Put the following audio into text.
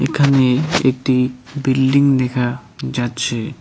এখানে একটি বিল্ডিং দেখা যাচ্ছে।